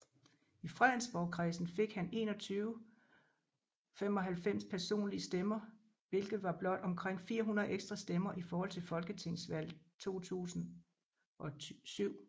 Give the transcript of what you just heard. I Fredensborgkredsen fik han 2195 personlige stemmer hvilket var blot omkring 400 ekstra stemmer i forhold til Folketingsvalget 2007